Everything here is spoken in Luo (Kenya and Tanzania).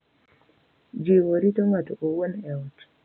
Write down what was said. Jiwo rito ng’ato owuon e ot